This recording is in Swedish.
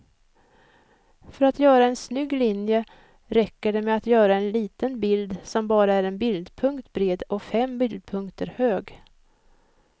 För att göra en snygg linje räcker det med att göra en liten bild som bara är en bildpunkt bred och fem bildpunkter hög.